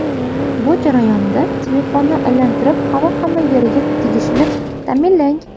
Bu jarayonda telefonni aylantirib, havo hamma yeriga tegishini ta’minlang.